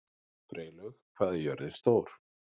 Freylaug, hvað er jörðin stór?